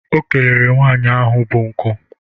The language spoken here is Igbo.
O kelere nwaanyị ahụ bụ nkụ.